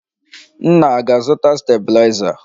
Nna a ga-azụta stabiliza?